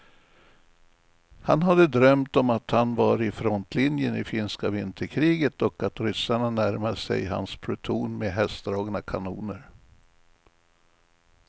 Han hade drömt om att han var i frontlinjen i finska vinterkriget och att ryssarna närmade sig hans pluton med hästdragna kanoner.